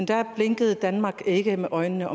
der blinkede danmark ikke med øjnene